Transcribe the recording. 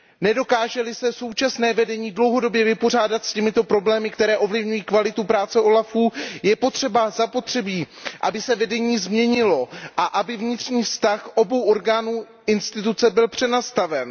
Nedokáže li se současné vedení dlouhodobě vypořádat s těmito problémy, které ovlivňují kvalitu práce úřadu OLAF, je zapotřebí, aby se vedení změnilo a aby vnitřní vztah obou orgánů instituce byl přenastaven.